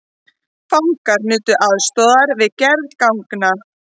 Fangar nutu aðstoðar við gerð ganga